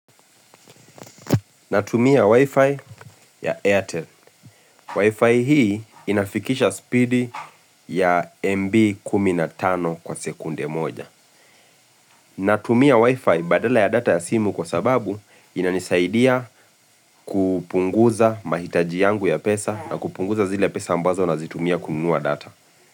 Natumia Wi-Fi ya AirTel. Wi-Fi hii inafikisha speed ya MB15 kwa sekunde moja. Natumia Wi-Fi badala ya data ya simu kwa sababu inanisaidia kupunguza mahitaji yangu ya pesa na kupunguza zile pesa ambazo na zitumia kununua data.